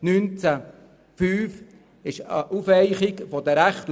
Bei Artikel 19 Absatz 5 handelt es sich um eine Aufweichung der Rechte.